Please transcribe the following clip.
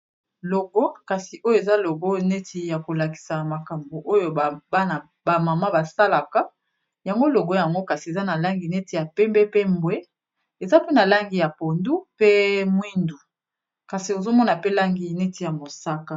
Logo kasi oyo eza logo neti ya kolakisa makambo oyo banabamama basalaka yango logo yango kasi eza na langi neti ya pembe pe mbwe eza pe na langi ya pondu pe mwindu kasi ozomona pe langi neti ya mosaka.